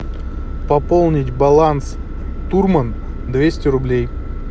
пополнить баланс турман двести рублей